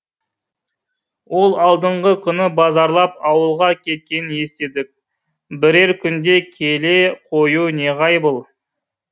ол алдыңғы күні базарлап ауылға кеткенін естідік бірер күнде келе қоюы неғайбыл